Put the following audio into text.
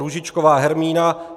Růžičková Hermína